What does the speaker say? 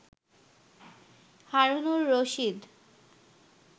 Harunur Rashid